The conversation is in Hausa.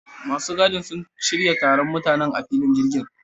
Masu gadin sun shirya taron mutanen a filin jirgin